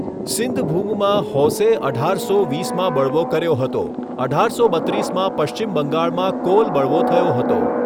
સિંઘભૂમમાં હોસે અઢારસો વીસમાં બળવો કર્યો હતો, અઢારસો બત્રીસમાં પશ્ચિમ બંગાળમાં કોલ બળવો થયો હતો.